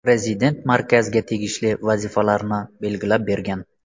Prezident markazga tegishli vazifalarni belgilab bergan.